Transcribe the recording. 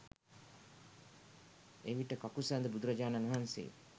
එවිට කකුසඳ බුදුරජාණන් වහන්සේ